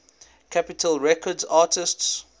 capitol records artists